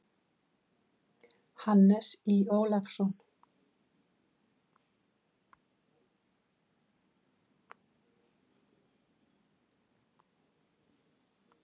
Hannes Í. Ólafsson.